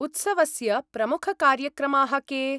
उत्सवस्य प्रमुखकार्यक्रमाः के?